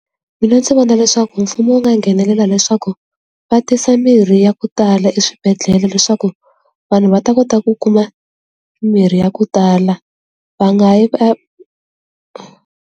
Mina ndzi vona leswaku mfumo wu nga nghenelela leswaku va tisa mirhi ya ku tala eswibedhlele leswaku vanhu va ta kota ku kuma mirhi ya ku tala va nga yi .